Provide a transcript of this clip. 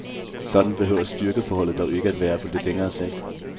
Sådan behøver styrkeforholdet dog ikke at være på lidt længere sigt.